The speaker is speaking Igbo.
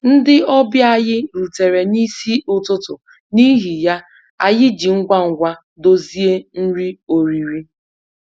Ndị ọbịa anyị rutere n'isi ụtụtụ, n'ihi ya, anyị ji ngwa ngwa dozie nri oriri